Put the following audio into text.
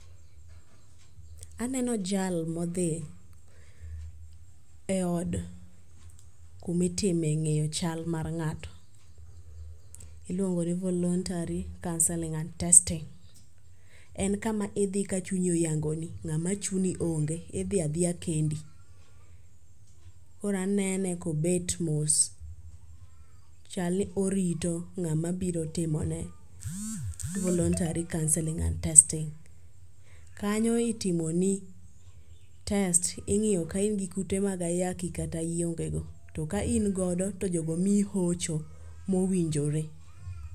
Aneno jal modhero eod kuma itime ng'eyo chal mar ng'ato. Iluongo ni voluntary counseling and testing. En kama idhi ka chunyi oyangoni. Ng'ama chuni onge. Idhi adhiya kendi. Koro anene ka obet mos. Chal ni orito ng'ama biro timo ne voluntary counseling and testing. Kanyo itimoni test ing'iyo ka in gi kute mag ayaki kata iongego. Ta kaingodo to jogo miyi hocho mowinjore.